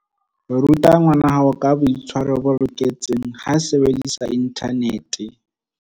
Ruta ngwanahao ka boitshwaro bo loketseng ha a sebedisa inthanete.